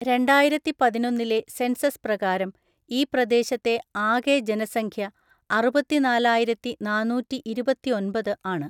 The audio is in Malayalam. രണ്ടായിരത്തിപതിനൊന്നിലെ സെൻസസ് പ്രകാരം ഈ പ്രദേശത്തെ ആകെ ജനസംഖ്യ അറുപത്തിനാലായിരത്തിനാന്നൂറ്റിഇരുപത്തിഒൻപത് ആണ്.